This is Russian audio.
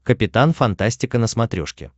капитан фантастика на смотрешке